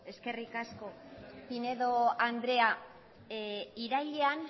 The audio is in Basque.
eskerrik asko pinedo andrea irailean